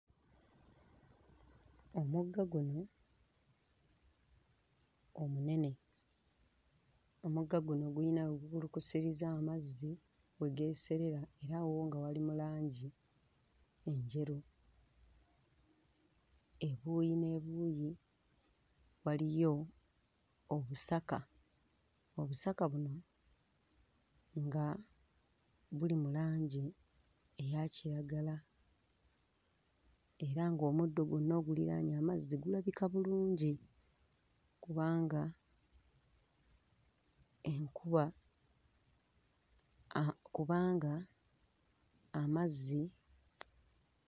Omugga guno omunene, omugga guno guyina we gukulukusiza amazzi we geeserera era wo nga wali mu langi enjeru, ebuuyi n'ebuuyi waliyo obusaka, obusaka buno nga buli mu langi eya kiragala era ng'omuddo gwonna oguliraanye amazzi gulabika bulungi kubanga enkuba aah kubanga amazzi.